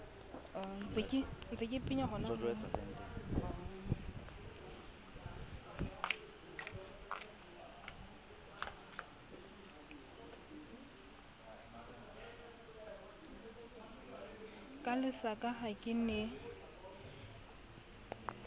ka lesaka ha ke ne